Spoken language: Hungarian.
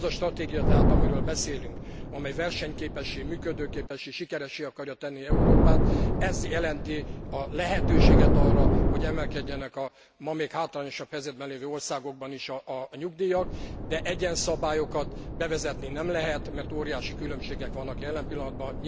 Az a stratégia tehát, amiről beszélünk, amely versenyképessé, működőképessé, sikeressé akarja tenni Európát, ez jelenti a lehetőséget arra, hogy emelkedjenek a ma még hátrányosabb helyzetben lévő országokban is a nyugdíjak, de egyenszabályokat bevezetni nem lehet, mert óriási különbségek vannak jelen pillanatban.